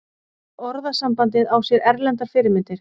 Orðasambandið á sér erlendar fyrirmyndir.